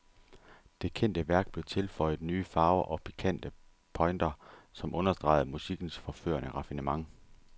Det kendte værk blev tilføjet nye farver og pikante pointer, som understregede musikkens forførende raffinement.